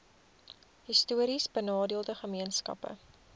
histories benadeelde gemeenskappe